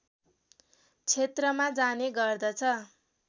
क्षेत्रमा जाने गर्दछ